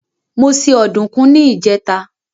Mo se ọdùkún ní ìjẹ́ta.